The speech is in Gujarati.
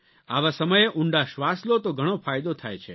આવા સમયે ઊંડા શ્વાસ લો તો ઘણો ફાયદો થાય છે